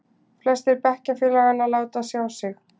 Flestir bekkjarfélaganna láta sjá sig.